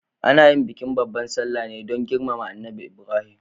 Ana yin bikin babbar salla ne don girmama Annabi Ibrahim.